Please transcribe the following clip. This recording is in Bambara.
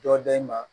Dɔ da i ma